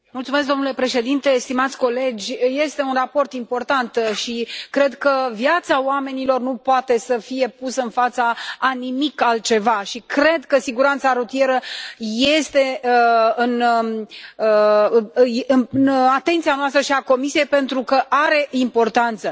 Domnule președinte, stimați colegi, este un raport important și cred că viața oamenilor nu poate să fie pusă în fața a nimic altceva și cred că siguranța rutieră este în atenția noastră și a Comisiei pentru că are importanță.